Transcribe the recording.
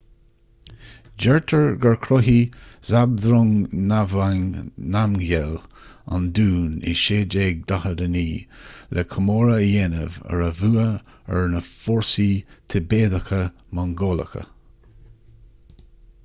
deirtear gur chruthaigh zhabdrung ngawang namgyel an dún i 1649 le comóradh a dhéanamh ar a bhua ar na fórsaí tibéadacha-mongólacha